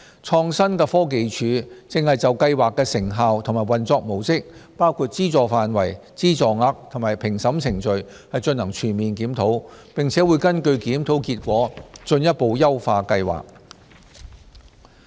創新科技署正就計劃的成效及運作模式，包括資助範圍、資助額及評審程序進行全面檢討，並會根據檢討結果進一步優化計劃。